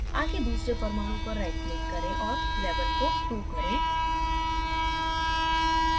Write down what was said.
आगे दूसरे परमाणु पर right click करें और label को 2 करें